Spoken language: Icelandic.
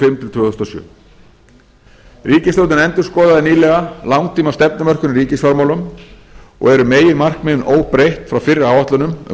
fimm til tvö þúsund og sjö ríkisstjórnin endurskoðaði nýlega langtímastefnumörkun í ríkisfjármálum og eru meginmarkmiðin óbreytt frá fyrri áætlunum um